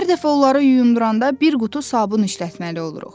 Hər dəfə onları yumduranda bir qutu sabun işlətməli oluruq.